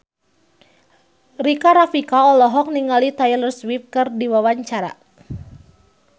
Rika Rafika olohok ningali Taylor Swift keur diwawancara